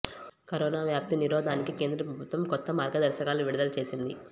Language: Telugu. కరోనా వ్యాప్తి నిరోధానికి కేంద్ర ప్రభుత్వం కొత్త మార్గదర్శకాలు విడుదల చేసింది